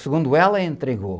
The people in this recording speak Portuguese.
Segundo ela, entregou.